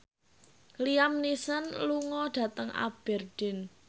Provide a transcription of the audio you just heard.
Liam Neeson lunga dhateng Aberdeen